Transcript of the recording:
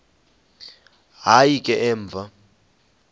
hayi ke emva